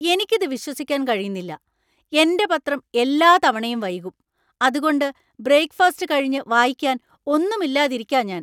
എനിക്ക് ഇത് വിശ്വസിക്കാൻ കഴിയുന്നില്ല! എന്‍റെ പത്രം എല്ലാ തവണയും വൈകും, അതുകൊണ്ട് ബ്രെയിക്ക്ഫസ്റ്റ് കഴിഞ്ഞ് വായിക്കാൻ ഒന്നും ഇല്ലാതിരിക്കാ ഞാന്‍.